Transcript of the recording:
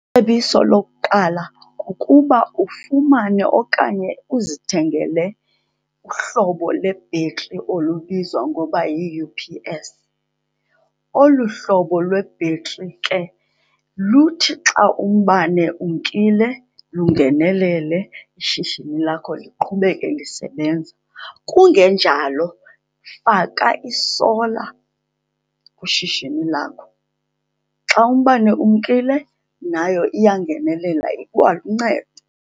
Cebiso lokuqala kukuba ufumane okanye uzithengele uhlobo lebhetri olubizwa ngoba yi-U_P_S. Olu hlobo lwebhetri ke luthi xa umbane umkile lungenelele, ishishini lakho liqhubeke lisebenza. Kungenjalo, faka isola kwishishini lakho. Xa umbane umkile nayo iyangenelela, ikwaluncedo.